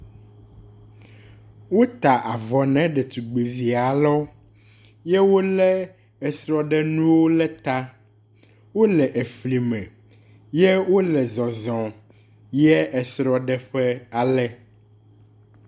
wota avɔ ne letugbi vialewo eye wóle esrɔɖenuwo le ta wóle efli me ye wóle zɔzɔm yiɛ esrɔɖeƒe ake